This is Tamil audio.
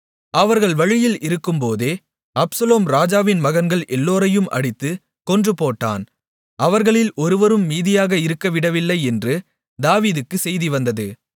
அவர்கள் வழியில் இருக்கும்போதே அப்சலோம் ராஜாவின் மகன்கள் எல்லோரையும் அடித்துக் கொன்றுபோட்டான் அவர்களில் ஒருவரும் மீதியாக இருக்கவிடவில்லை என்று தாவீதுக்குச் செய்தி வந்தது